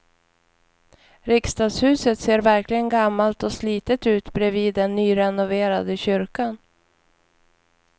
Riksdagshuset ser verkligen gammalt och slitet ut bredvid den nyrenoverade kyrkan.